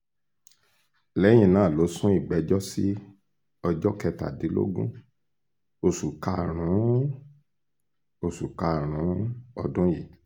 lẹ́yìn náà ló sún ìgbẹ́jọ́ sí ọjọ́ kẹtàdínlógún oṣù karùn-ún oṣù karùn-ún ọdún yìí